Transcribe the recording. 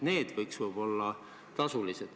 Need võiksid olla võib-olla tasulised.